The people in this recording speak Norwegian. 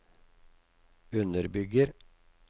underbygger